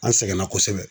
An sɛgɛnna kosɛbɛ